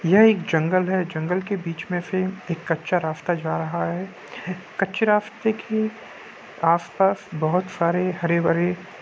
यह एक जंगल है जंगल के बीच में से एक कच्चा रास्ता जा रहा है कच्चे रास्ते के आस पास बहुत सारे हरे भरे--